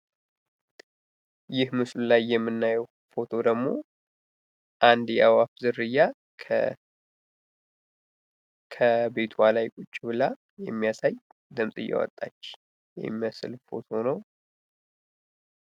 ይህ ምስሉ ላይ የምናየው ፎቶ ደግሞ አንድ የአእዋፍ ዝርያ ከቤቷ ላይ ቁጭ ብላ የሚያሳይ ድምፅ እያወጣች የሚመስል ፎቶ ነው።